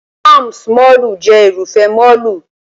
Palms mọ́ọ̀lù jẹ́ Irúfẹ́ mọ́ọ̀lù